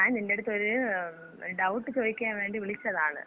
ഞാൻ നിന്‍റെടുത്ത് ഒരു ഡൗട്ട് ചോയിക്കാൻ വേണ്ടി വിളിച്ചതാണ്.